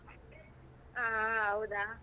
ಆ ಹೌದಾ.